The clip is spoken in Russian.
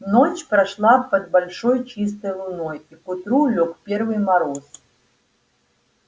ночь прошла под большой чистой луной и к утру лёг первый мороз